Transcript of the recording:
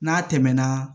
N'a tɛmɛna